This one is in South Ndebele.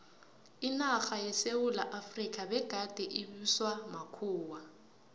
inarha yesewula efrika begade ibuswa makhuwa